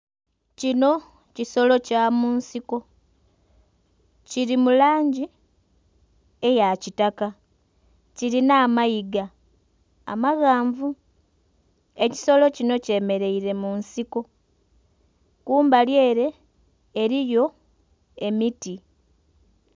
Kino kisolo kya mu nsiko, kili mu langi eya kitaka, kilinha amayiga amaghanvu. Ekisolo kinho kyemeleire mu nsiko. Kumbali ere eliyo emiti.